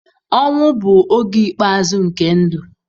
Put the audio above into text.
Ọnwụ bụ oge ikpeazụ nke ndụ.